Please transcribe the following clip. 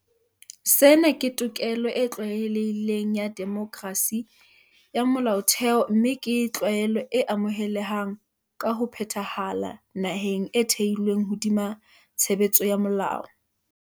Sena ke tokelo e tlwaelehileng ya demokerasi ya molaotheo mme ke tlwaelo e amohelehang ka ho phethahala naheng e thehilweng hodima tshebetso ya molao.